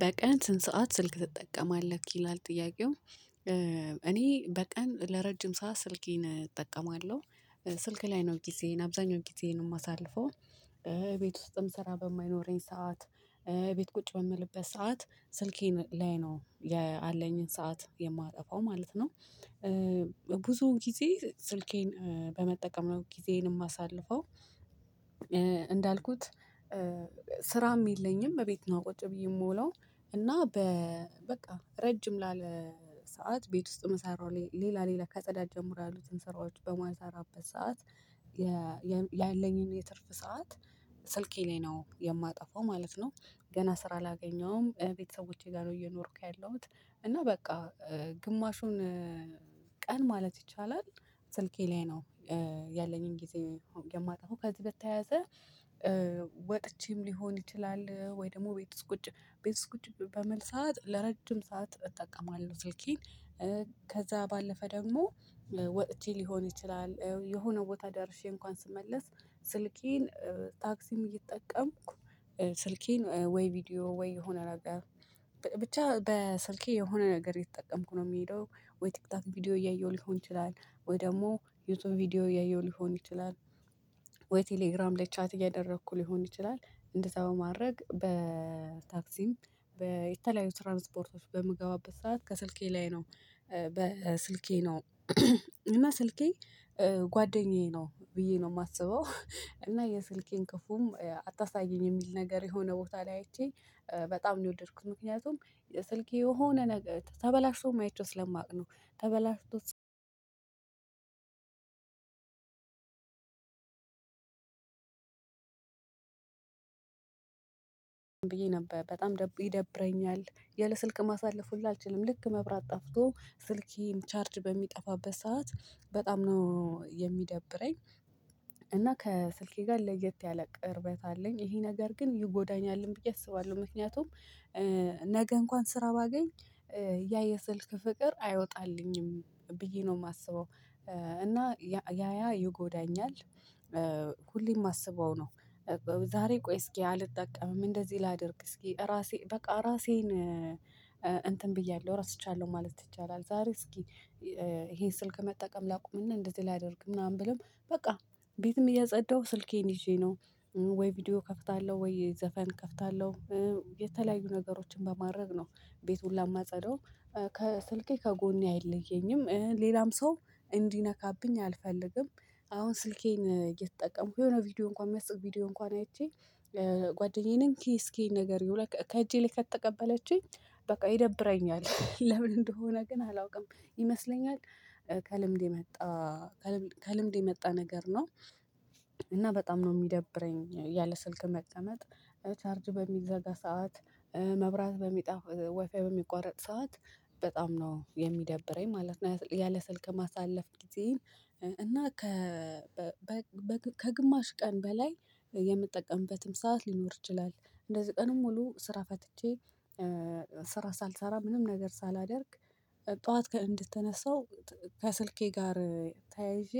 በቀን ስንት ሰዓት ስልክ ትጠቀማለህ ይላል ጥያቄው? እኔ በቀን ለረጅም ሰዓት ስልኬን እጠቀማለሁ ስልክ ላይ ነው ጊዜዬን አብዛኛው ጊዜዬን የማሳልፈው። ቤት ውስጥም ስራ በማይኖረኝ ሰዓት ቤት ቁጭ በምልበት ሰዓት ስልኬን ላይ ነው ያለኝን ሰዓት የማጠፋው ማለት ነው። ብዙ ጊዜ ስልኬን በመጠቀም ነው ጊዜዬን የማሳልፈው አሳልፈው። እንዳልኩት ስራም የለኝም እቤት ነው ቁጭ ብዬ የምውለው። እና በ በቃ ረጅም ላለ ሰዓት ቤት ውስጥ መሰራው ሌላ ሌላ ከፅዳት ጀምሮ ያሉትን ስራዎች በማልራበት ሰዓት። ያለኝን የትርፍ ሰዓት ስልኬ ላይ ነው የማጠፋው ማለት ነው። ገና ስራ አላገኘሁም ቤተሰቦቼ ጋር ነው እየኖርኩ ያለሁት። እና በቃ ግማሹን ቀን ማለት ይቻላል ስልኬ ላይ ነው ያለኝን ጊዜ የማጠፋው። ከዚህ በተያያዘ ወጥቼም ሊሆን ይችላል ወይ ደግሞ ቤት ውስጥ ቁጭ ቤት ውስጥ ቁጭ በምል ሰዓት ለረጅም ሰዓት እጠቀማለሁ ስልኬን። ከዛ ባለፈ ደግሞ ወጥቼ ሊሆን ይችላል የሆነ ቦታ ደርሼ እንኳን ስመለስ ስልኬን ታክሲም እየተጠቀምኩ ስልኬን ወይ ቪዲዮ ወይ የሆነ ነገር ብቻ በስልኬ የሆነ ነገር የተጠቀምኩ ነው የሚሄደው። ወይ ቲክቶክ ቪዲዮ እያየሁ ሊሆን ይችላል ወይ ደግሞ ዩቲዩብ ቪዲዮ እያየሁ ሊሆን ይችላል። ወይ ቴሌግራም ላይ ቻት እያደረኩ ሊሆን ይችላል። እንደዛ በማድረግ በታክሲም በተለያዩ ትራንስፖርቶች በምገባበት ሰዓት ከስልኬ ላይ ነው በስልኬ ነው። እና ስልኬ ጓደኛዬ ነው ብዬ ነው የማስበው። እና የስልኬን ክፉም አታሳየኝ የሚል ነገር የሆነ ቦታ ላይ አይቼ በጣም ነው የወደድኩት። ምክንያቱም ስልኬ የሆነ ነገር ተበላሽቶም አይቼው ስለማቅ ነው። ተበላሽቶ ብዬ ነበር በጣም ይደብረኛል። ያለ ስልክ ማሳለፍ ሁሉ አልችልም ልክ መብራት ጠፍቶ ስልኬም ቻርጅ በሚጠፋበት ሰዓት በጣም ነው የሚደብረኝ። እና ከስልኬ ጋር ለየት ያለ ቅርበት አለኝ ይሄ ነገር ግን ይጎዳኛልም ብዬ አስባለሁ። ምክንያቱም ነገ እንኳን ስራ ባገኝ ያ የስልክ ፍቅር አይወጣልኝም ብዬ ነው የማስበው እና ያያ ይጎዳኛል። ሁሌም የማስበው ነው። ዛሬ ቆይ እስኪ አልጠቀምም እንደዚህ ላድርግ እስኪ ራሴ በቃ ራሴን እንትን ብያለሁ ረስቻለሁ ማለት ይቻላል። ዛሬ እስኪ ይሄን ስልክ መጠቀም ላቁምና እንደዚህ ላደርግ ምናምን ብሎም በቃ ቤትም እያጸዳሁ ስልኬን ይዤ ነው። ወይ ቪዲዮ እከፍታለሁ ወይ ዘፈን ከፍታለሁ። የተለያዩ ነገሮችን በማድረግ ነው ቤት ሁላ የማጸዳው። ከስልኬ ከጎኔ አይለየኝም ሌላም ሰው እንዲነካብኝ አልፈልግም። አሁን ስልኬን እየተጠቀምኩ የሆነ ቪዲዮ እንኳን የሚያስቅ ቪዲዮ እንኳን አይቼ። ጓደኛዬንም እንኪ እስኪ ይሄን ነገር ይውላችሁ ከእጄ ላይ ከተቀበለችኝ በቃ ይደብረኛል ለምን እንደሆነ ግን አላውቅም። ይመስለኛል ከልምድ የመጣ ከልምድ ከልምድ የመጣ ነገር ነው። እና በጣም ነው የሚደብረኝ ያለ ስልክ መቀመጥ። ቻርጅ በሚዘጋ ሰዓት መብራት በሚጣ ዋይፋይ በሚቋረጥ ሰዓት። በጣም ነው የሚደብረኝ ማለት ነው ያለ ስልክ ማሳለፍ ጊዜዬን። እና ከ ከግማሽ ቀን በላይ የምጠቀምበትም ሰዓት ሊኖር ይችላል እንደዚህ ቀን ሙሉ ስራ ፈትቼ። ስራ ሳልሰራ ምንም ነገር ሳላደርግ። ጠዋት እንድትነሳው ከስልኬ ጋር ተያይዤ